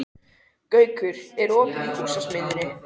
Gaukur, er opið í Húsasmiðjunni?